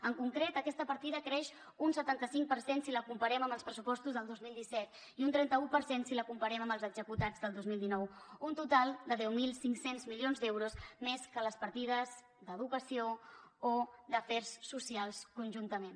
en concret aquesta partida creix un setanta cinc per cent si la comparem amb els pressupostos del dos mil disset i un trenta un per cent si la comparem amb els executats del dos mil dinou un total de deu mil cinc cents milions d’euros més que les partides d’educació o d’afers socials conjuntament